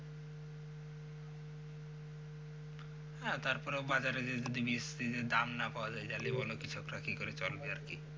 হ্যাঁ তারপরেও বাজারে যদি ধান না পাওয়া যায় তাহলে কৃষকরা কিকরে চলবে আরকি?